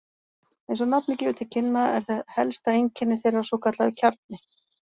Eins og nafnið gefur til kynna er helsta einkenni þeirra svokallaður kjarni.